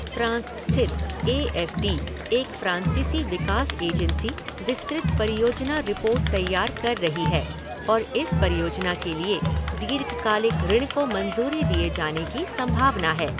France स्थित A F D, एक फ़्रांसीसी विकास एजेंसी, विस्तृत परियोजना रिपोर्ट तैयार कर रही है और इस परियोजना के लिए दीर्घकालिक ऋण को मंजूरी दिए जाने की संभावना है।